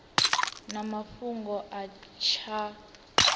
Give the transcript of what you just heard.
na mafhungo a tshiko tsha